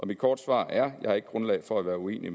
mit korte svar er jeg har ikke grundlag for at være uenig i